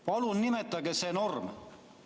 Palun nimetage see norm!